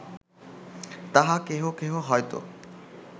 তাহা কেহ কেহ হয়ত